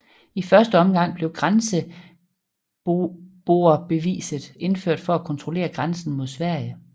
I første omgang blev grenseboerbeviset indført for at kontrollere grænsen mod Sverige